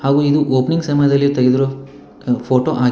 ಹಾಗು ಇದು opening ceremony ದಲ್ಲಿ ತೆಗೆದಿರುವ ಫೋಟೋ ಆಗಿ--